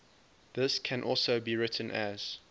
this can also be written as